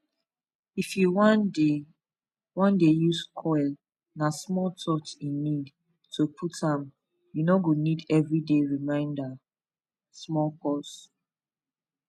if u wan dey wan dey use coil na small touch e need to put am u no go need everyday reminder small pause